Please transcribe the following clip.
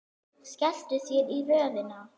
Skelltu þér í röðina.